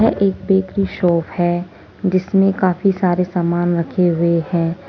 एक bakery shop है जिसमें काफी सारे सामान रखे हुए हैं।